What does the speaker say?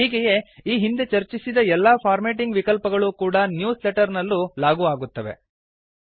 ಹೀಗೆಯೇ ಈ ಹಿಂದೆ ಚರ್ಚಿಸಿದ ಎಲ್ಲಾ ಫಾರ್ಮ್ಯಾಟಿಂಗ್ ವಿಕಲ್ಪಗಳೂ ಕೂಡಾ ನ್ಯೂಸ್ ಲೆಟರ್ ನಲ್ಲೂ ಲಾಗೂ ಆಗುತ್ತವೆ